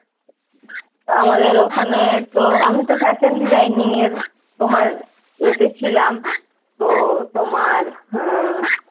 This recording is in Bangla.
আমাদের ওখানে তো আমি তো fashion designing এর তোমার এতে ছিলাম। তোর তোমার আহ